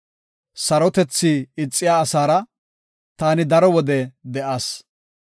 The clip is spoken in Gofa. Sarotethi ixiya asaara taani daro wode de7as.